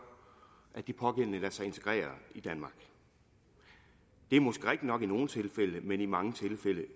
at de pågældende lader sig integrere i danmark det er måske rigtigt nok i nogle tilfælde men i mange tilfælde